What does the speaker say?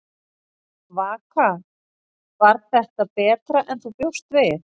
Vaka: Var þetta betra en þú bjóst við?